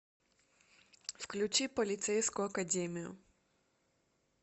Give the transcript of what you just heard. включи полицейскую академию